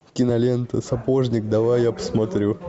кинолента сапожник давай я посмотрю